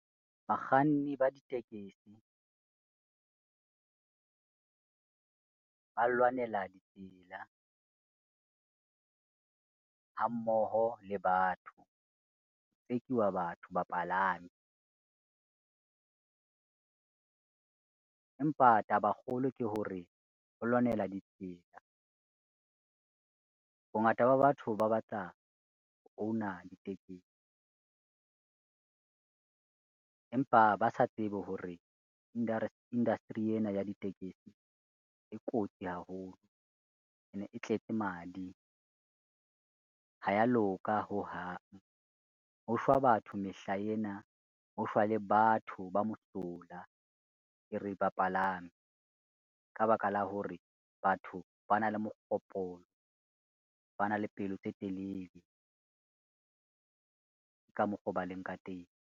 Bakganni ba ditekesi, ba lwanela ditsela ha mmoho le batho, tsekiwa batho bapalami. Empa taba e kgolo ke hore ho lwanela ditsela. Bongata ba batho ba batla own-a ditekesi, empa ba sa tsebe hore industry ena ya ditekesi e kotsi haholo, ene e tletse madi, ha ya loka hohang. Ho shwa batho mehlaena, ho shwa le batho ba mohlola ke re bapalami ka baka la hore, batho ba na le mogopolo, ba na le pelo tse telele ka mokgo ba leng ka teng.